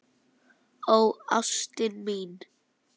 Ó ástin mín.